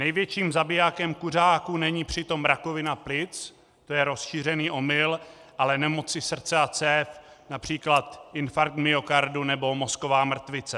Největším zabijákem kuřáků není přitom rakovina plic, to je rozšířený omyl, ale nemoci srdce a cév, například infarkt myokardu nebo mozková mrtvice.